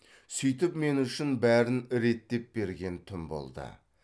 сөйтіп мен үшін бәрін реттеп берген түн болды